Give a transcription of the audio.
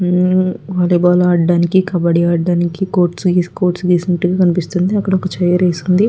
మ్మ్ volleyball ఆడడానికి కబడ్డీ ఆడడానికి courts వేసినట్టు కనిపిస్తుంది అక్కడ ఒక చైర్ వేసి ఉంది.